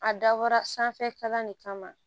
A dabɔra sanfɛ kalan de kama